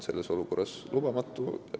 Selline olukord on lubamatu.